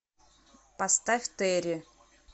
поставь терри